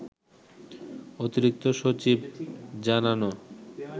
অতিরিক্ত সচিব জানান